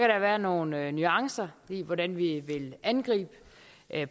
der være nogle nuancer i hvordan vi vil angribe